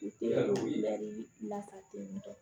U tɛ lafasali kɛ